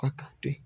A ka to yen